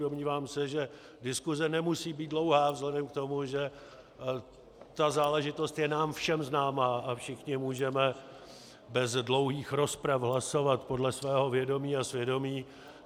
Domnívám se, že diskuze nemusí být dlouhá vzhledem k tomu, že ta záležitost je nám všem známá a všichni můžeme bez dlouhých rozprav hlasovat podle svého vědomí a svědomí.